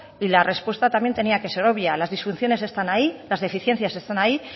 y la respuesta también tenía que ser obvia las disfunciones están ahí las deficiencias están ahí